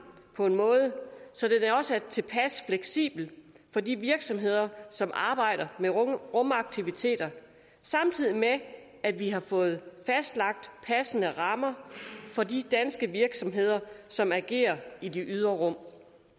på en måde så det også er tilpas fleksibelt for de virksomheder som arbejder med rumaktiviteter samtidig med at vi har fået fastlagt passende rammer for de danske virksomheder som agerer i det ydre rum